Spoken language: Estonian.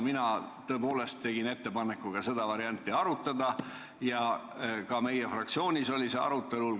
Mina tõepoolest tegin ettepaneku ka seda varianti arutada ja ka meie fraktsioonis see arutelul oligi.